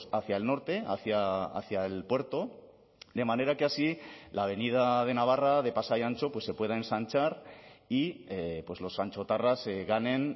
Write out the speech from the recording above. hacia el norte hacia el puerto de manera que así la avenida de navarra de pasai antxo se pueda ensanchar y los antxotarras ganen